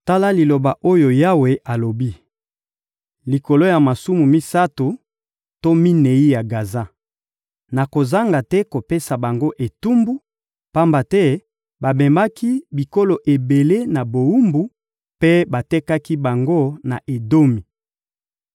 Tala liloba oyo Yawe alobi: «Likolo ya masumu misato to minei ya Gaza, nakozanga te kopesa bango etumbu, pamba te bamemaki bikolo ebele na bowumbu mpe batekaki bango na Edomi.